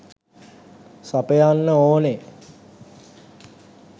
සපයන්න ඕනේ.